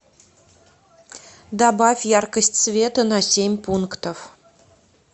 добавь яркость света на семь пунктов